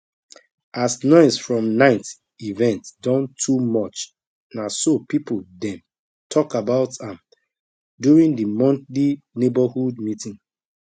as noise from night event don too much na so people dem talk about am during the monthly neighborhood meeting